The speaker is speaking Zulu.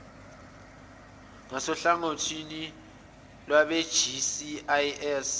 ngasohlangothini lwabe gcis